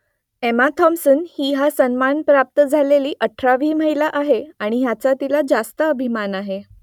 Emma Thompson ही हा सन्मान प्राप्त झालेली अठरावी महिला आहे आणि याचा तिला रास्त अभिमान आहे